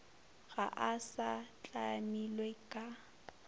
ga a sa tlamilwe ka